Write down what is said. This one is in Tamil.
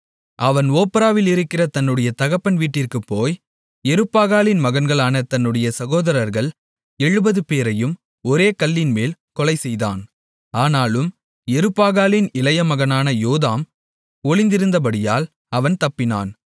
அவன் ஒப்ராவிலிருக்கிற தன்னுடைய தகப்பன் வீட்டிற்குப் போய் யெருபாகாலின் மகன்களான தன்னுடைய சகோதரர்கள் 70 பேரையும் ஒரே கல்லின்மேல் கொலைசெய்தான் ஆனாலும் யெருபாகாலின் இளைய மகனான யோதாம் ஒளிந்திருந்தபடியால் அவன் தப்பினான்